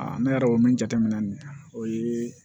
ne yɛrɛ o min jateminɛ nin na o ye